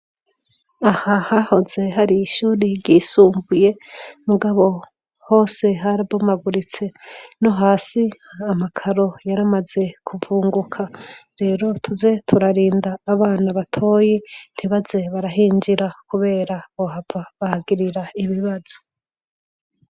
aha hahoze hari ishuri ryisumbuye mugabo hose harabomaguritse no hasi amakaro yaramaze kuvunguka rero tuze turarinda abana batoyi ntibaze barahinjira kubera bohava bahagirira ibibazo